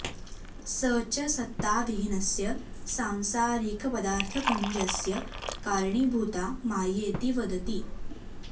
स च सत्ताविहीनस्य सांसारिक पदार्थपुञ्जस्य कारणीभूता मायेति वदति